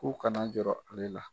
K'u kana jɔrɔ ale la.